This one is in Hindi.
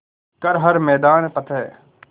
कर हर मैदान फ़तेह